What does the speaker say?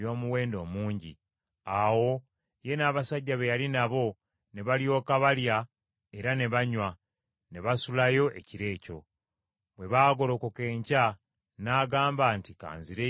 Awo ye n’abasajja be yali nabo ne balyoka balya era ne banywa; ne basulayo ekiro ekyo. Bwe baagolokoka enkya n’agamba nti, “Ka nzireyo eri mukama wange.”